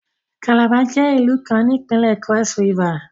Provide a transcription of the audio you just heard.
Calabar jẹ ilu kan ni Ipinle Cross-River